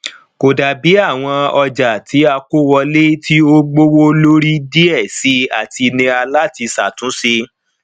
kò dàbí àwọn ọjà tí a kó wọlé tí ó gbówó lórí díẹ síi àti nira láti ṣàtúnṣe